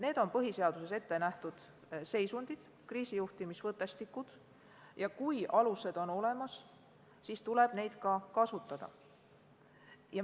Need on põhiseaduses ette nähtud seisundid, kriisijuhtimisvõttestikud, ja kui alused on olemas, siis tuleb neid kasutada.